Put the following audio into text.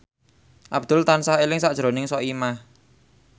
Abdul tansah eling sakjroning Soimah